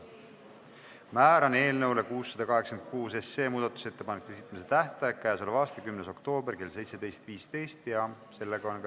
Määran eelnõu 686 muudatusettepanekute esitamise tähtajaks k.a 10. oktoobri kell 17.15.